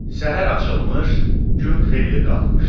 Səhər açılmış, gün xeyli qalxmışdı.